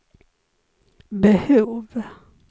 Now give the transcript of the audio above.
behov